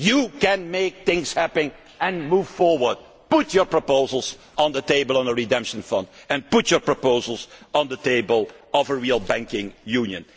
initiative you can make things happen and move forward. Put your proposals on the table on a redemption fund, and put your proposals on the table for a real banking